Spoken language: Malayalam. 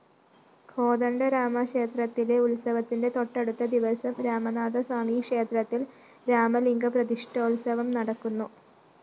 കോദണ്ഡരാമക്ഷേത്രത്തിലെ ഉത്സവത്തിന്റെ തൊട്ടടുത്ത ദിവസം രാമനാഥസ്വാമിക്ഷേത്രത്തില്‍ രാമലിംഗപ്രതിഷ്‌ഠോത്സവം നടക്കുന്നു